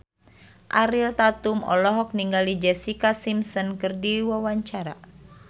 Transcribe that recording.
Ariel Tatum olohok ningali Jessica Simpson keur diwawancara